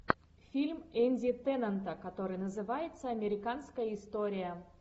фильм энди теннанта который называется американская история